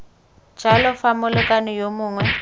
jalo fa molekane yo mongwe